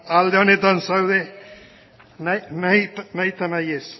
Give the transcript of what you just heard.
alde honetan zaude nahita nahi ez